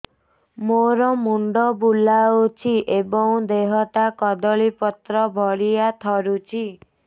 ମୋର ମୁଣ୍ଡ ବୁଲାଉଛି ଏବଂ ଦେହଟା କଦଳୀପତ୍ର ଭଳିଆ ଥରୁଛି